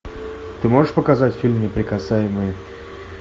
ты можешь показать фильм неприкасаемые